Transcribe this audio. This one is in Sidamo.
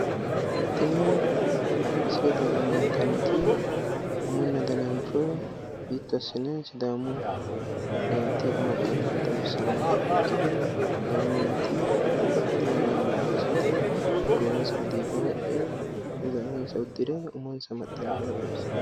Tini misilete aana leellittanoti umu danancho hiitto asse loosiranoro xawisanote, Sidaamu meenti babbaxinohu budunihu ayyaanu daayiro umonsa gophe, diiga wodhe ayirrisanotta kulittano misileeti